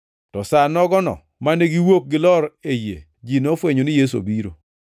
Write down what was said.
To sa nogono mane giwuok gilor e yie, ji nofwenyo ni Yesu obiro.